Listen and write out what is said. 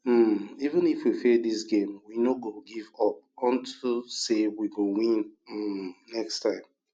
um even if we fail dis game we no go give up unto say we go win um next time